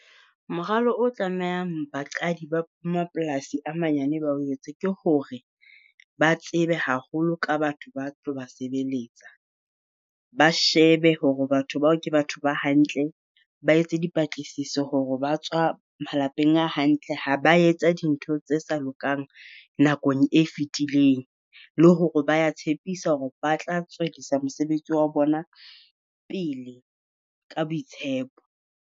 Moralo o tlamehang baqadi ba mapolasi a manyane ba o etse ke hore, ba tsebe haholo ka batho ba tlo ba sebeletsa. Ba shebe hore batho bao ke batho ba hantle, ba etse dipatlisiso hore ba tswa malapeng a hantle ha ba etsa dintho tse sa lokang nakong e fetileng. Le hore ba ya tshepisa hore ba tla tswedisa mosebetsi wa bona pele ka boitshepo.